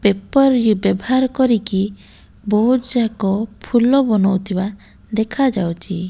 Paper ବ୍ୟବହାର କରିକି ବୋହୁତ ଯାକ ଫୁଲ ବନୁଥିବା ଦେଖା ଯାଉଚି।